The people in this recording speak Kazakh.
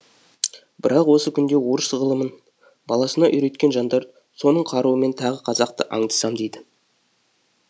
бірақ осы күнде орыс ғылымын баласына үйреткен жандар соның қаруымен тағы қазақты аңдысам дейді